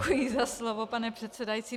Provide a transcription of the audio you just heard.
Děkuji za slovo, pane předsedající.